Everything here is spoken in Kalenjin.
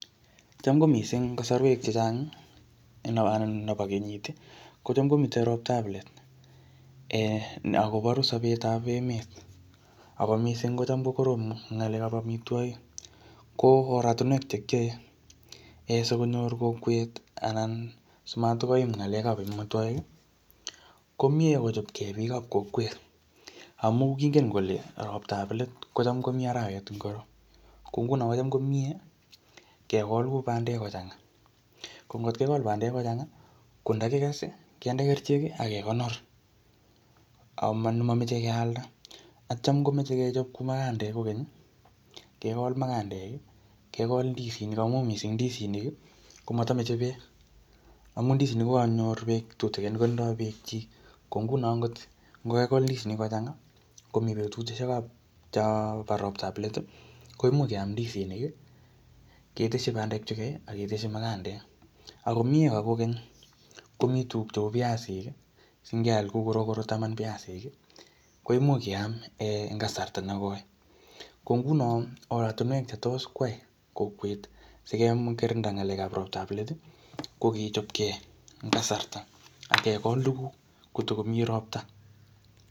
chamkomising kasorwek chechangi anan nebo kenyiti kocham komiten roptab let ee akoboru sobetab emet ako mising kotam kokorom ngalekap amitwogik ko oratinwek chekiyoe ee sikonyor kokwet anan simatkoim ngalekap amitwogik komie kochopkee bikab kokwet amun kingen kole ropta let kocham komi arawet ngoro ko ngunon kocham komie kekol kuu bandek kochangaa ko ngekol bandek kochangaa kondokikese kinde kercheki ak kekonor amomoche kealda ak cham komoche sikechob magandek kokeny kekol magandeki kekol ndisinik amun mising ndisinik komotomoche beek amun ndisinik kokonyor beek tutigin kotindo beekchyik ko ngunon ngot ngokakikol ndisinik kochangaa komi betushek chombo roptab leti koimuch keam ndisinik keteshi bandeki chukai aketeshi magandek akomie kokeny komi tuguk piasiki singeal kou korokoro taman piasik komuch keam en kasarta nekoi ko ngunon ortinwek chetos yai kokwet sikekirinda ngalekap roptap let kokechopkee en kasarta akekol tuguk kotokomi ropta